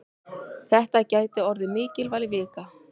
Þetta gæti orðið mikilvæg vika.